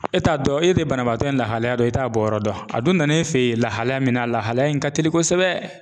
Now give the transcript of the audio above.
E t'a dɔn e de ye banabaatɔ in lahalaya dɔn e t'a bɔ yɔrɔ dɔn a don na e fɛ ye lahalaya min na a lahalaya in ka teli kosɛbɛ.